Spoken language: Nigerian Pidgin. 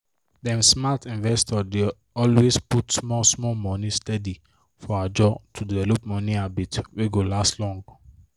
dem smart investor dey always put small small money steady for ajo to develop money habit wey go last long.